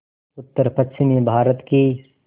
उत्तरपश्चिमी भारत की